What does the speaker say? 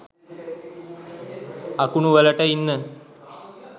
අකුණු වලට ඉන්න